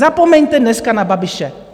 Zapomeňte dneska na Babiše.